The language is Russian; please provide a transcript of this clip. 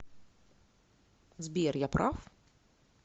сбер я прав